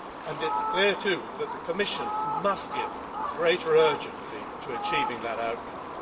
It is clear too that the Commission must give greater urgency to achieving that outcome.